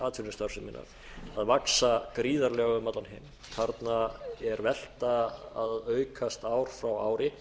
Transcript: atvinnustarfseminnar að vaxa gríðarlega um allan heim þarna er velta að aukast ár frá ári